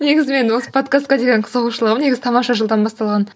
негіз менің осы подкастқа деген қызығушылығым негізі тамаша шоудан басталған